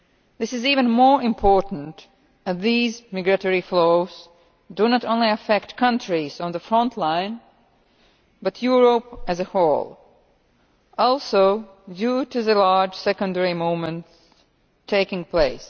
This is even more important as these migratory flows do not only affect countries on the front line but Europe as a whole, also due to the large secondary movements taking place.